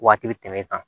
Waati bɛ tɛmɛ e kan